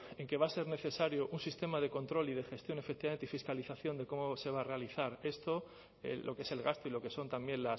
en que va a ser necesario un sistema de control y de gestión efectivamente y fiscalización de cómo se va a realizar esto lo que es el gasto y lo que son también